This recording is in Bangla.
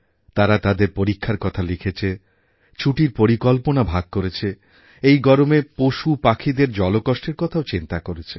তারা তাদের পরীক্ষার কথা লিখেছে ছুটির পরিকল্পনা ভাগ করেছে এই গরমে পশুপাখিদের জলকষ্টের কথাও চিন্তা করেছে